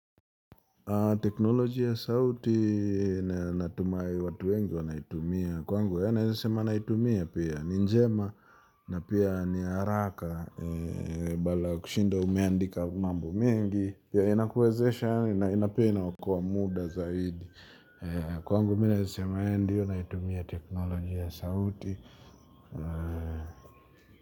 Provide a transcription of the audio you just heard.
Teknolojia ya sauti natumai watu wengi wanaitumia. Kwangu ya naeza sema naitumia pia ni njema na pia ni haraka. Badala kushinda umeandika mambo mengi. Pia inakuwezesha na ina na pia inaokoa muda zaidi. Kwangu mo naeza sema eeh ndiyo naitumia teknolojia ya sauti.